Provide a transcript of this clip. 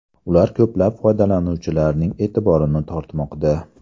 Ular ko‘plab foydalanuvchilarning e’tiborini tortmoqda.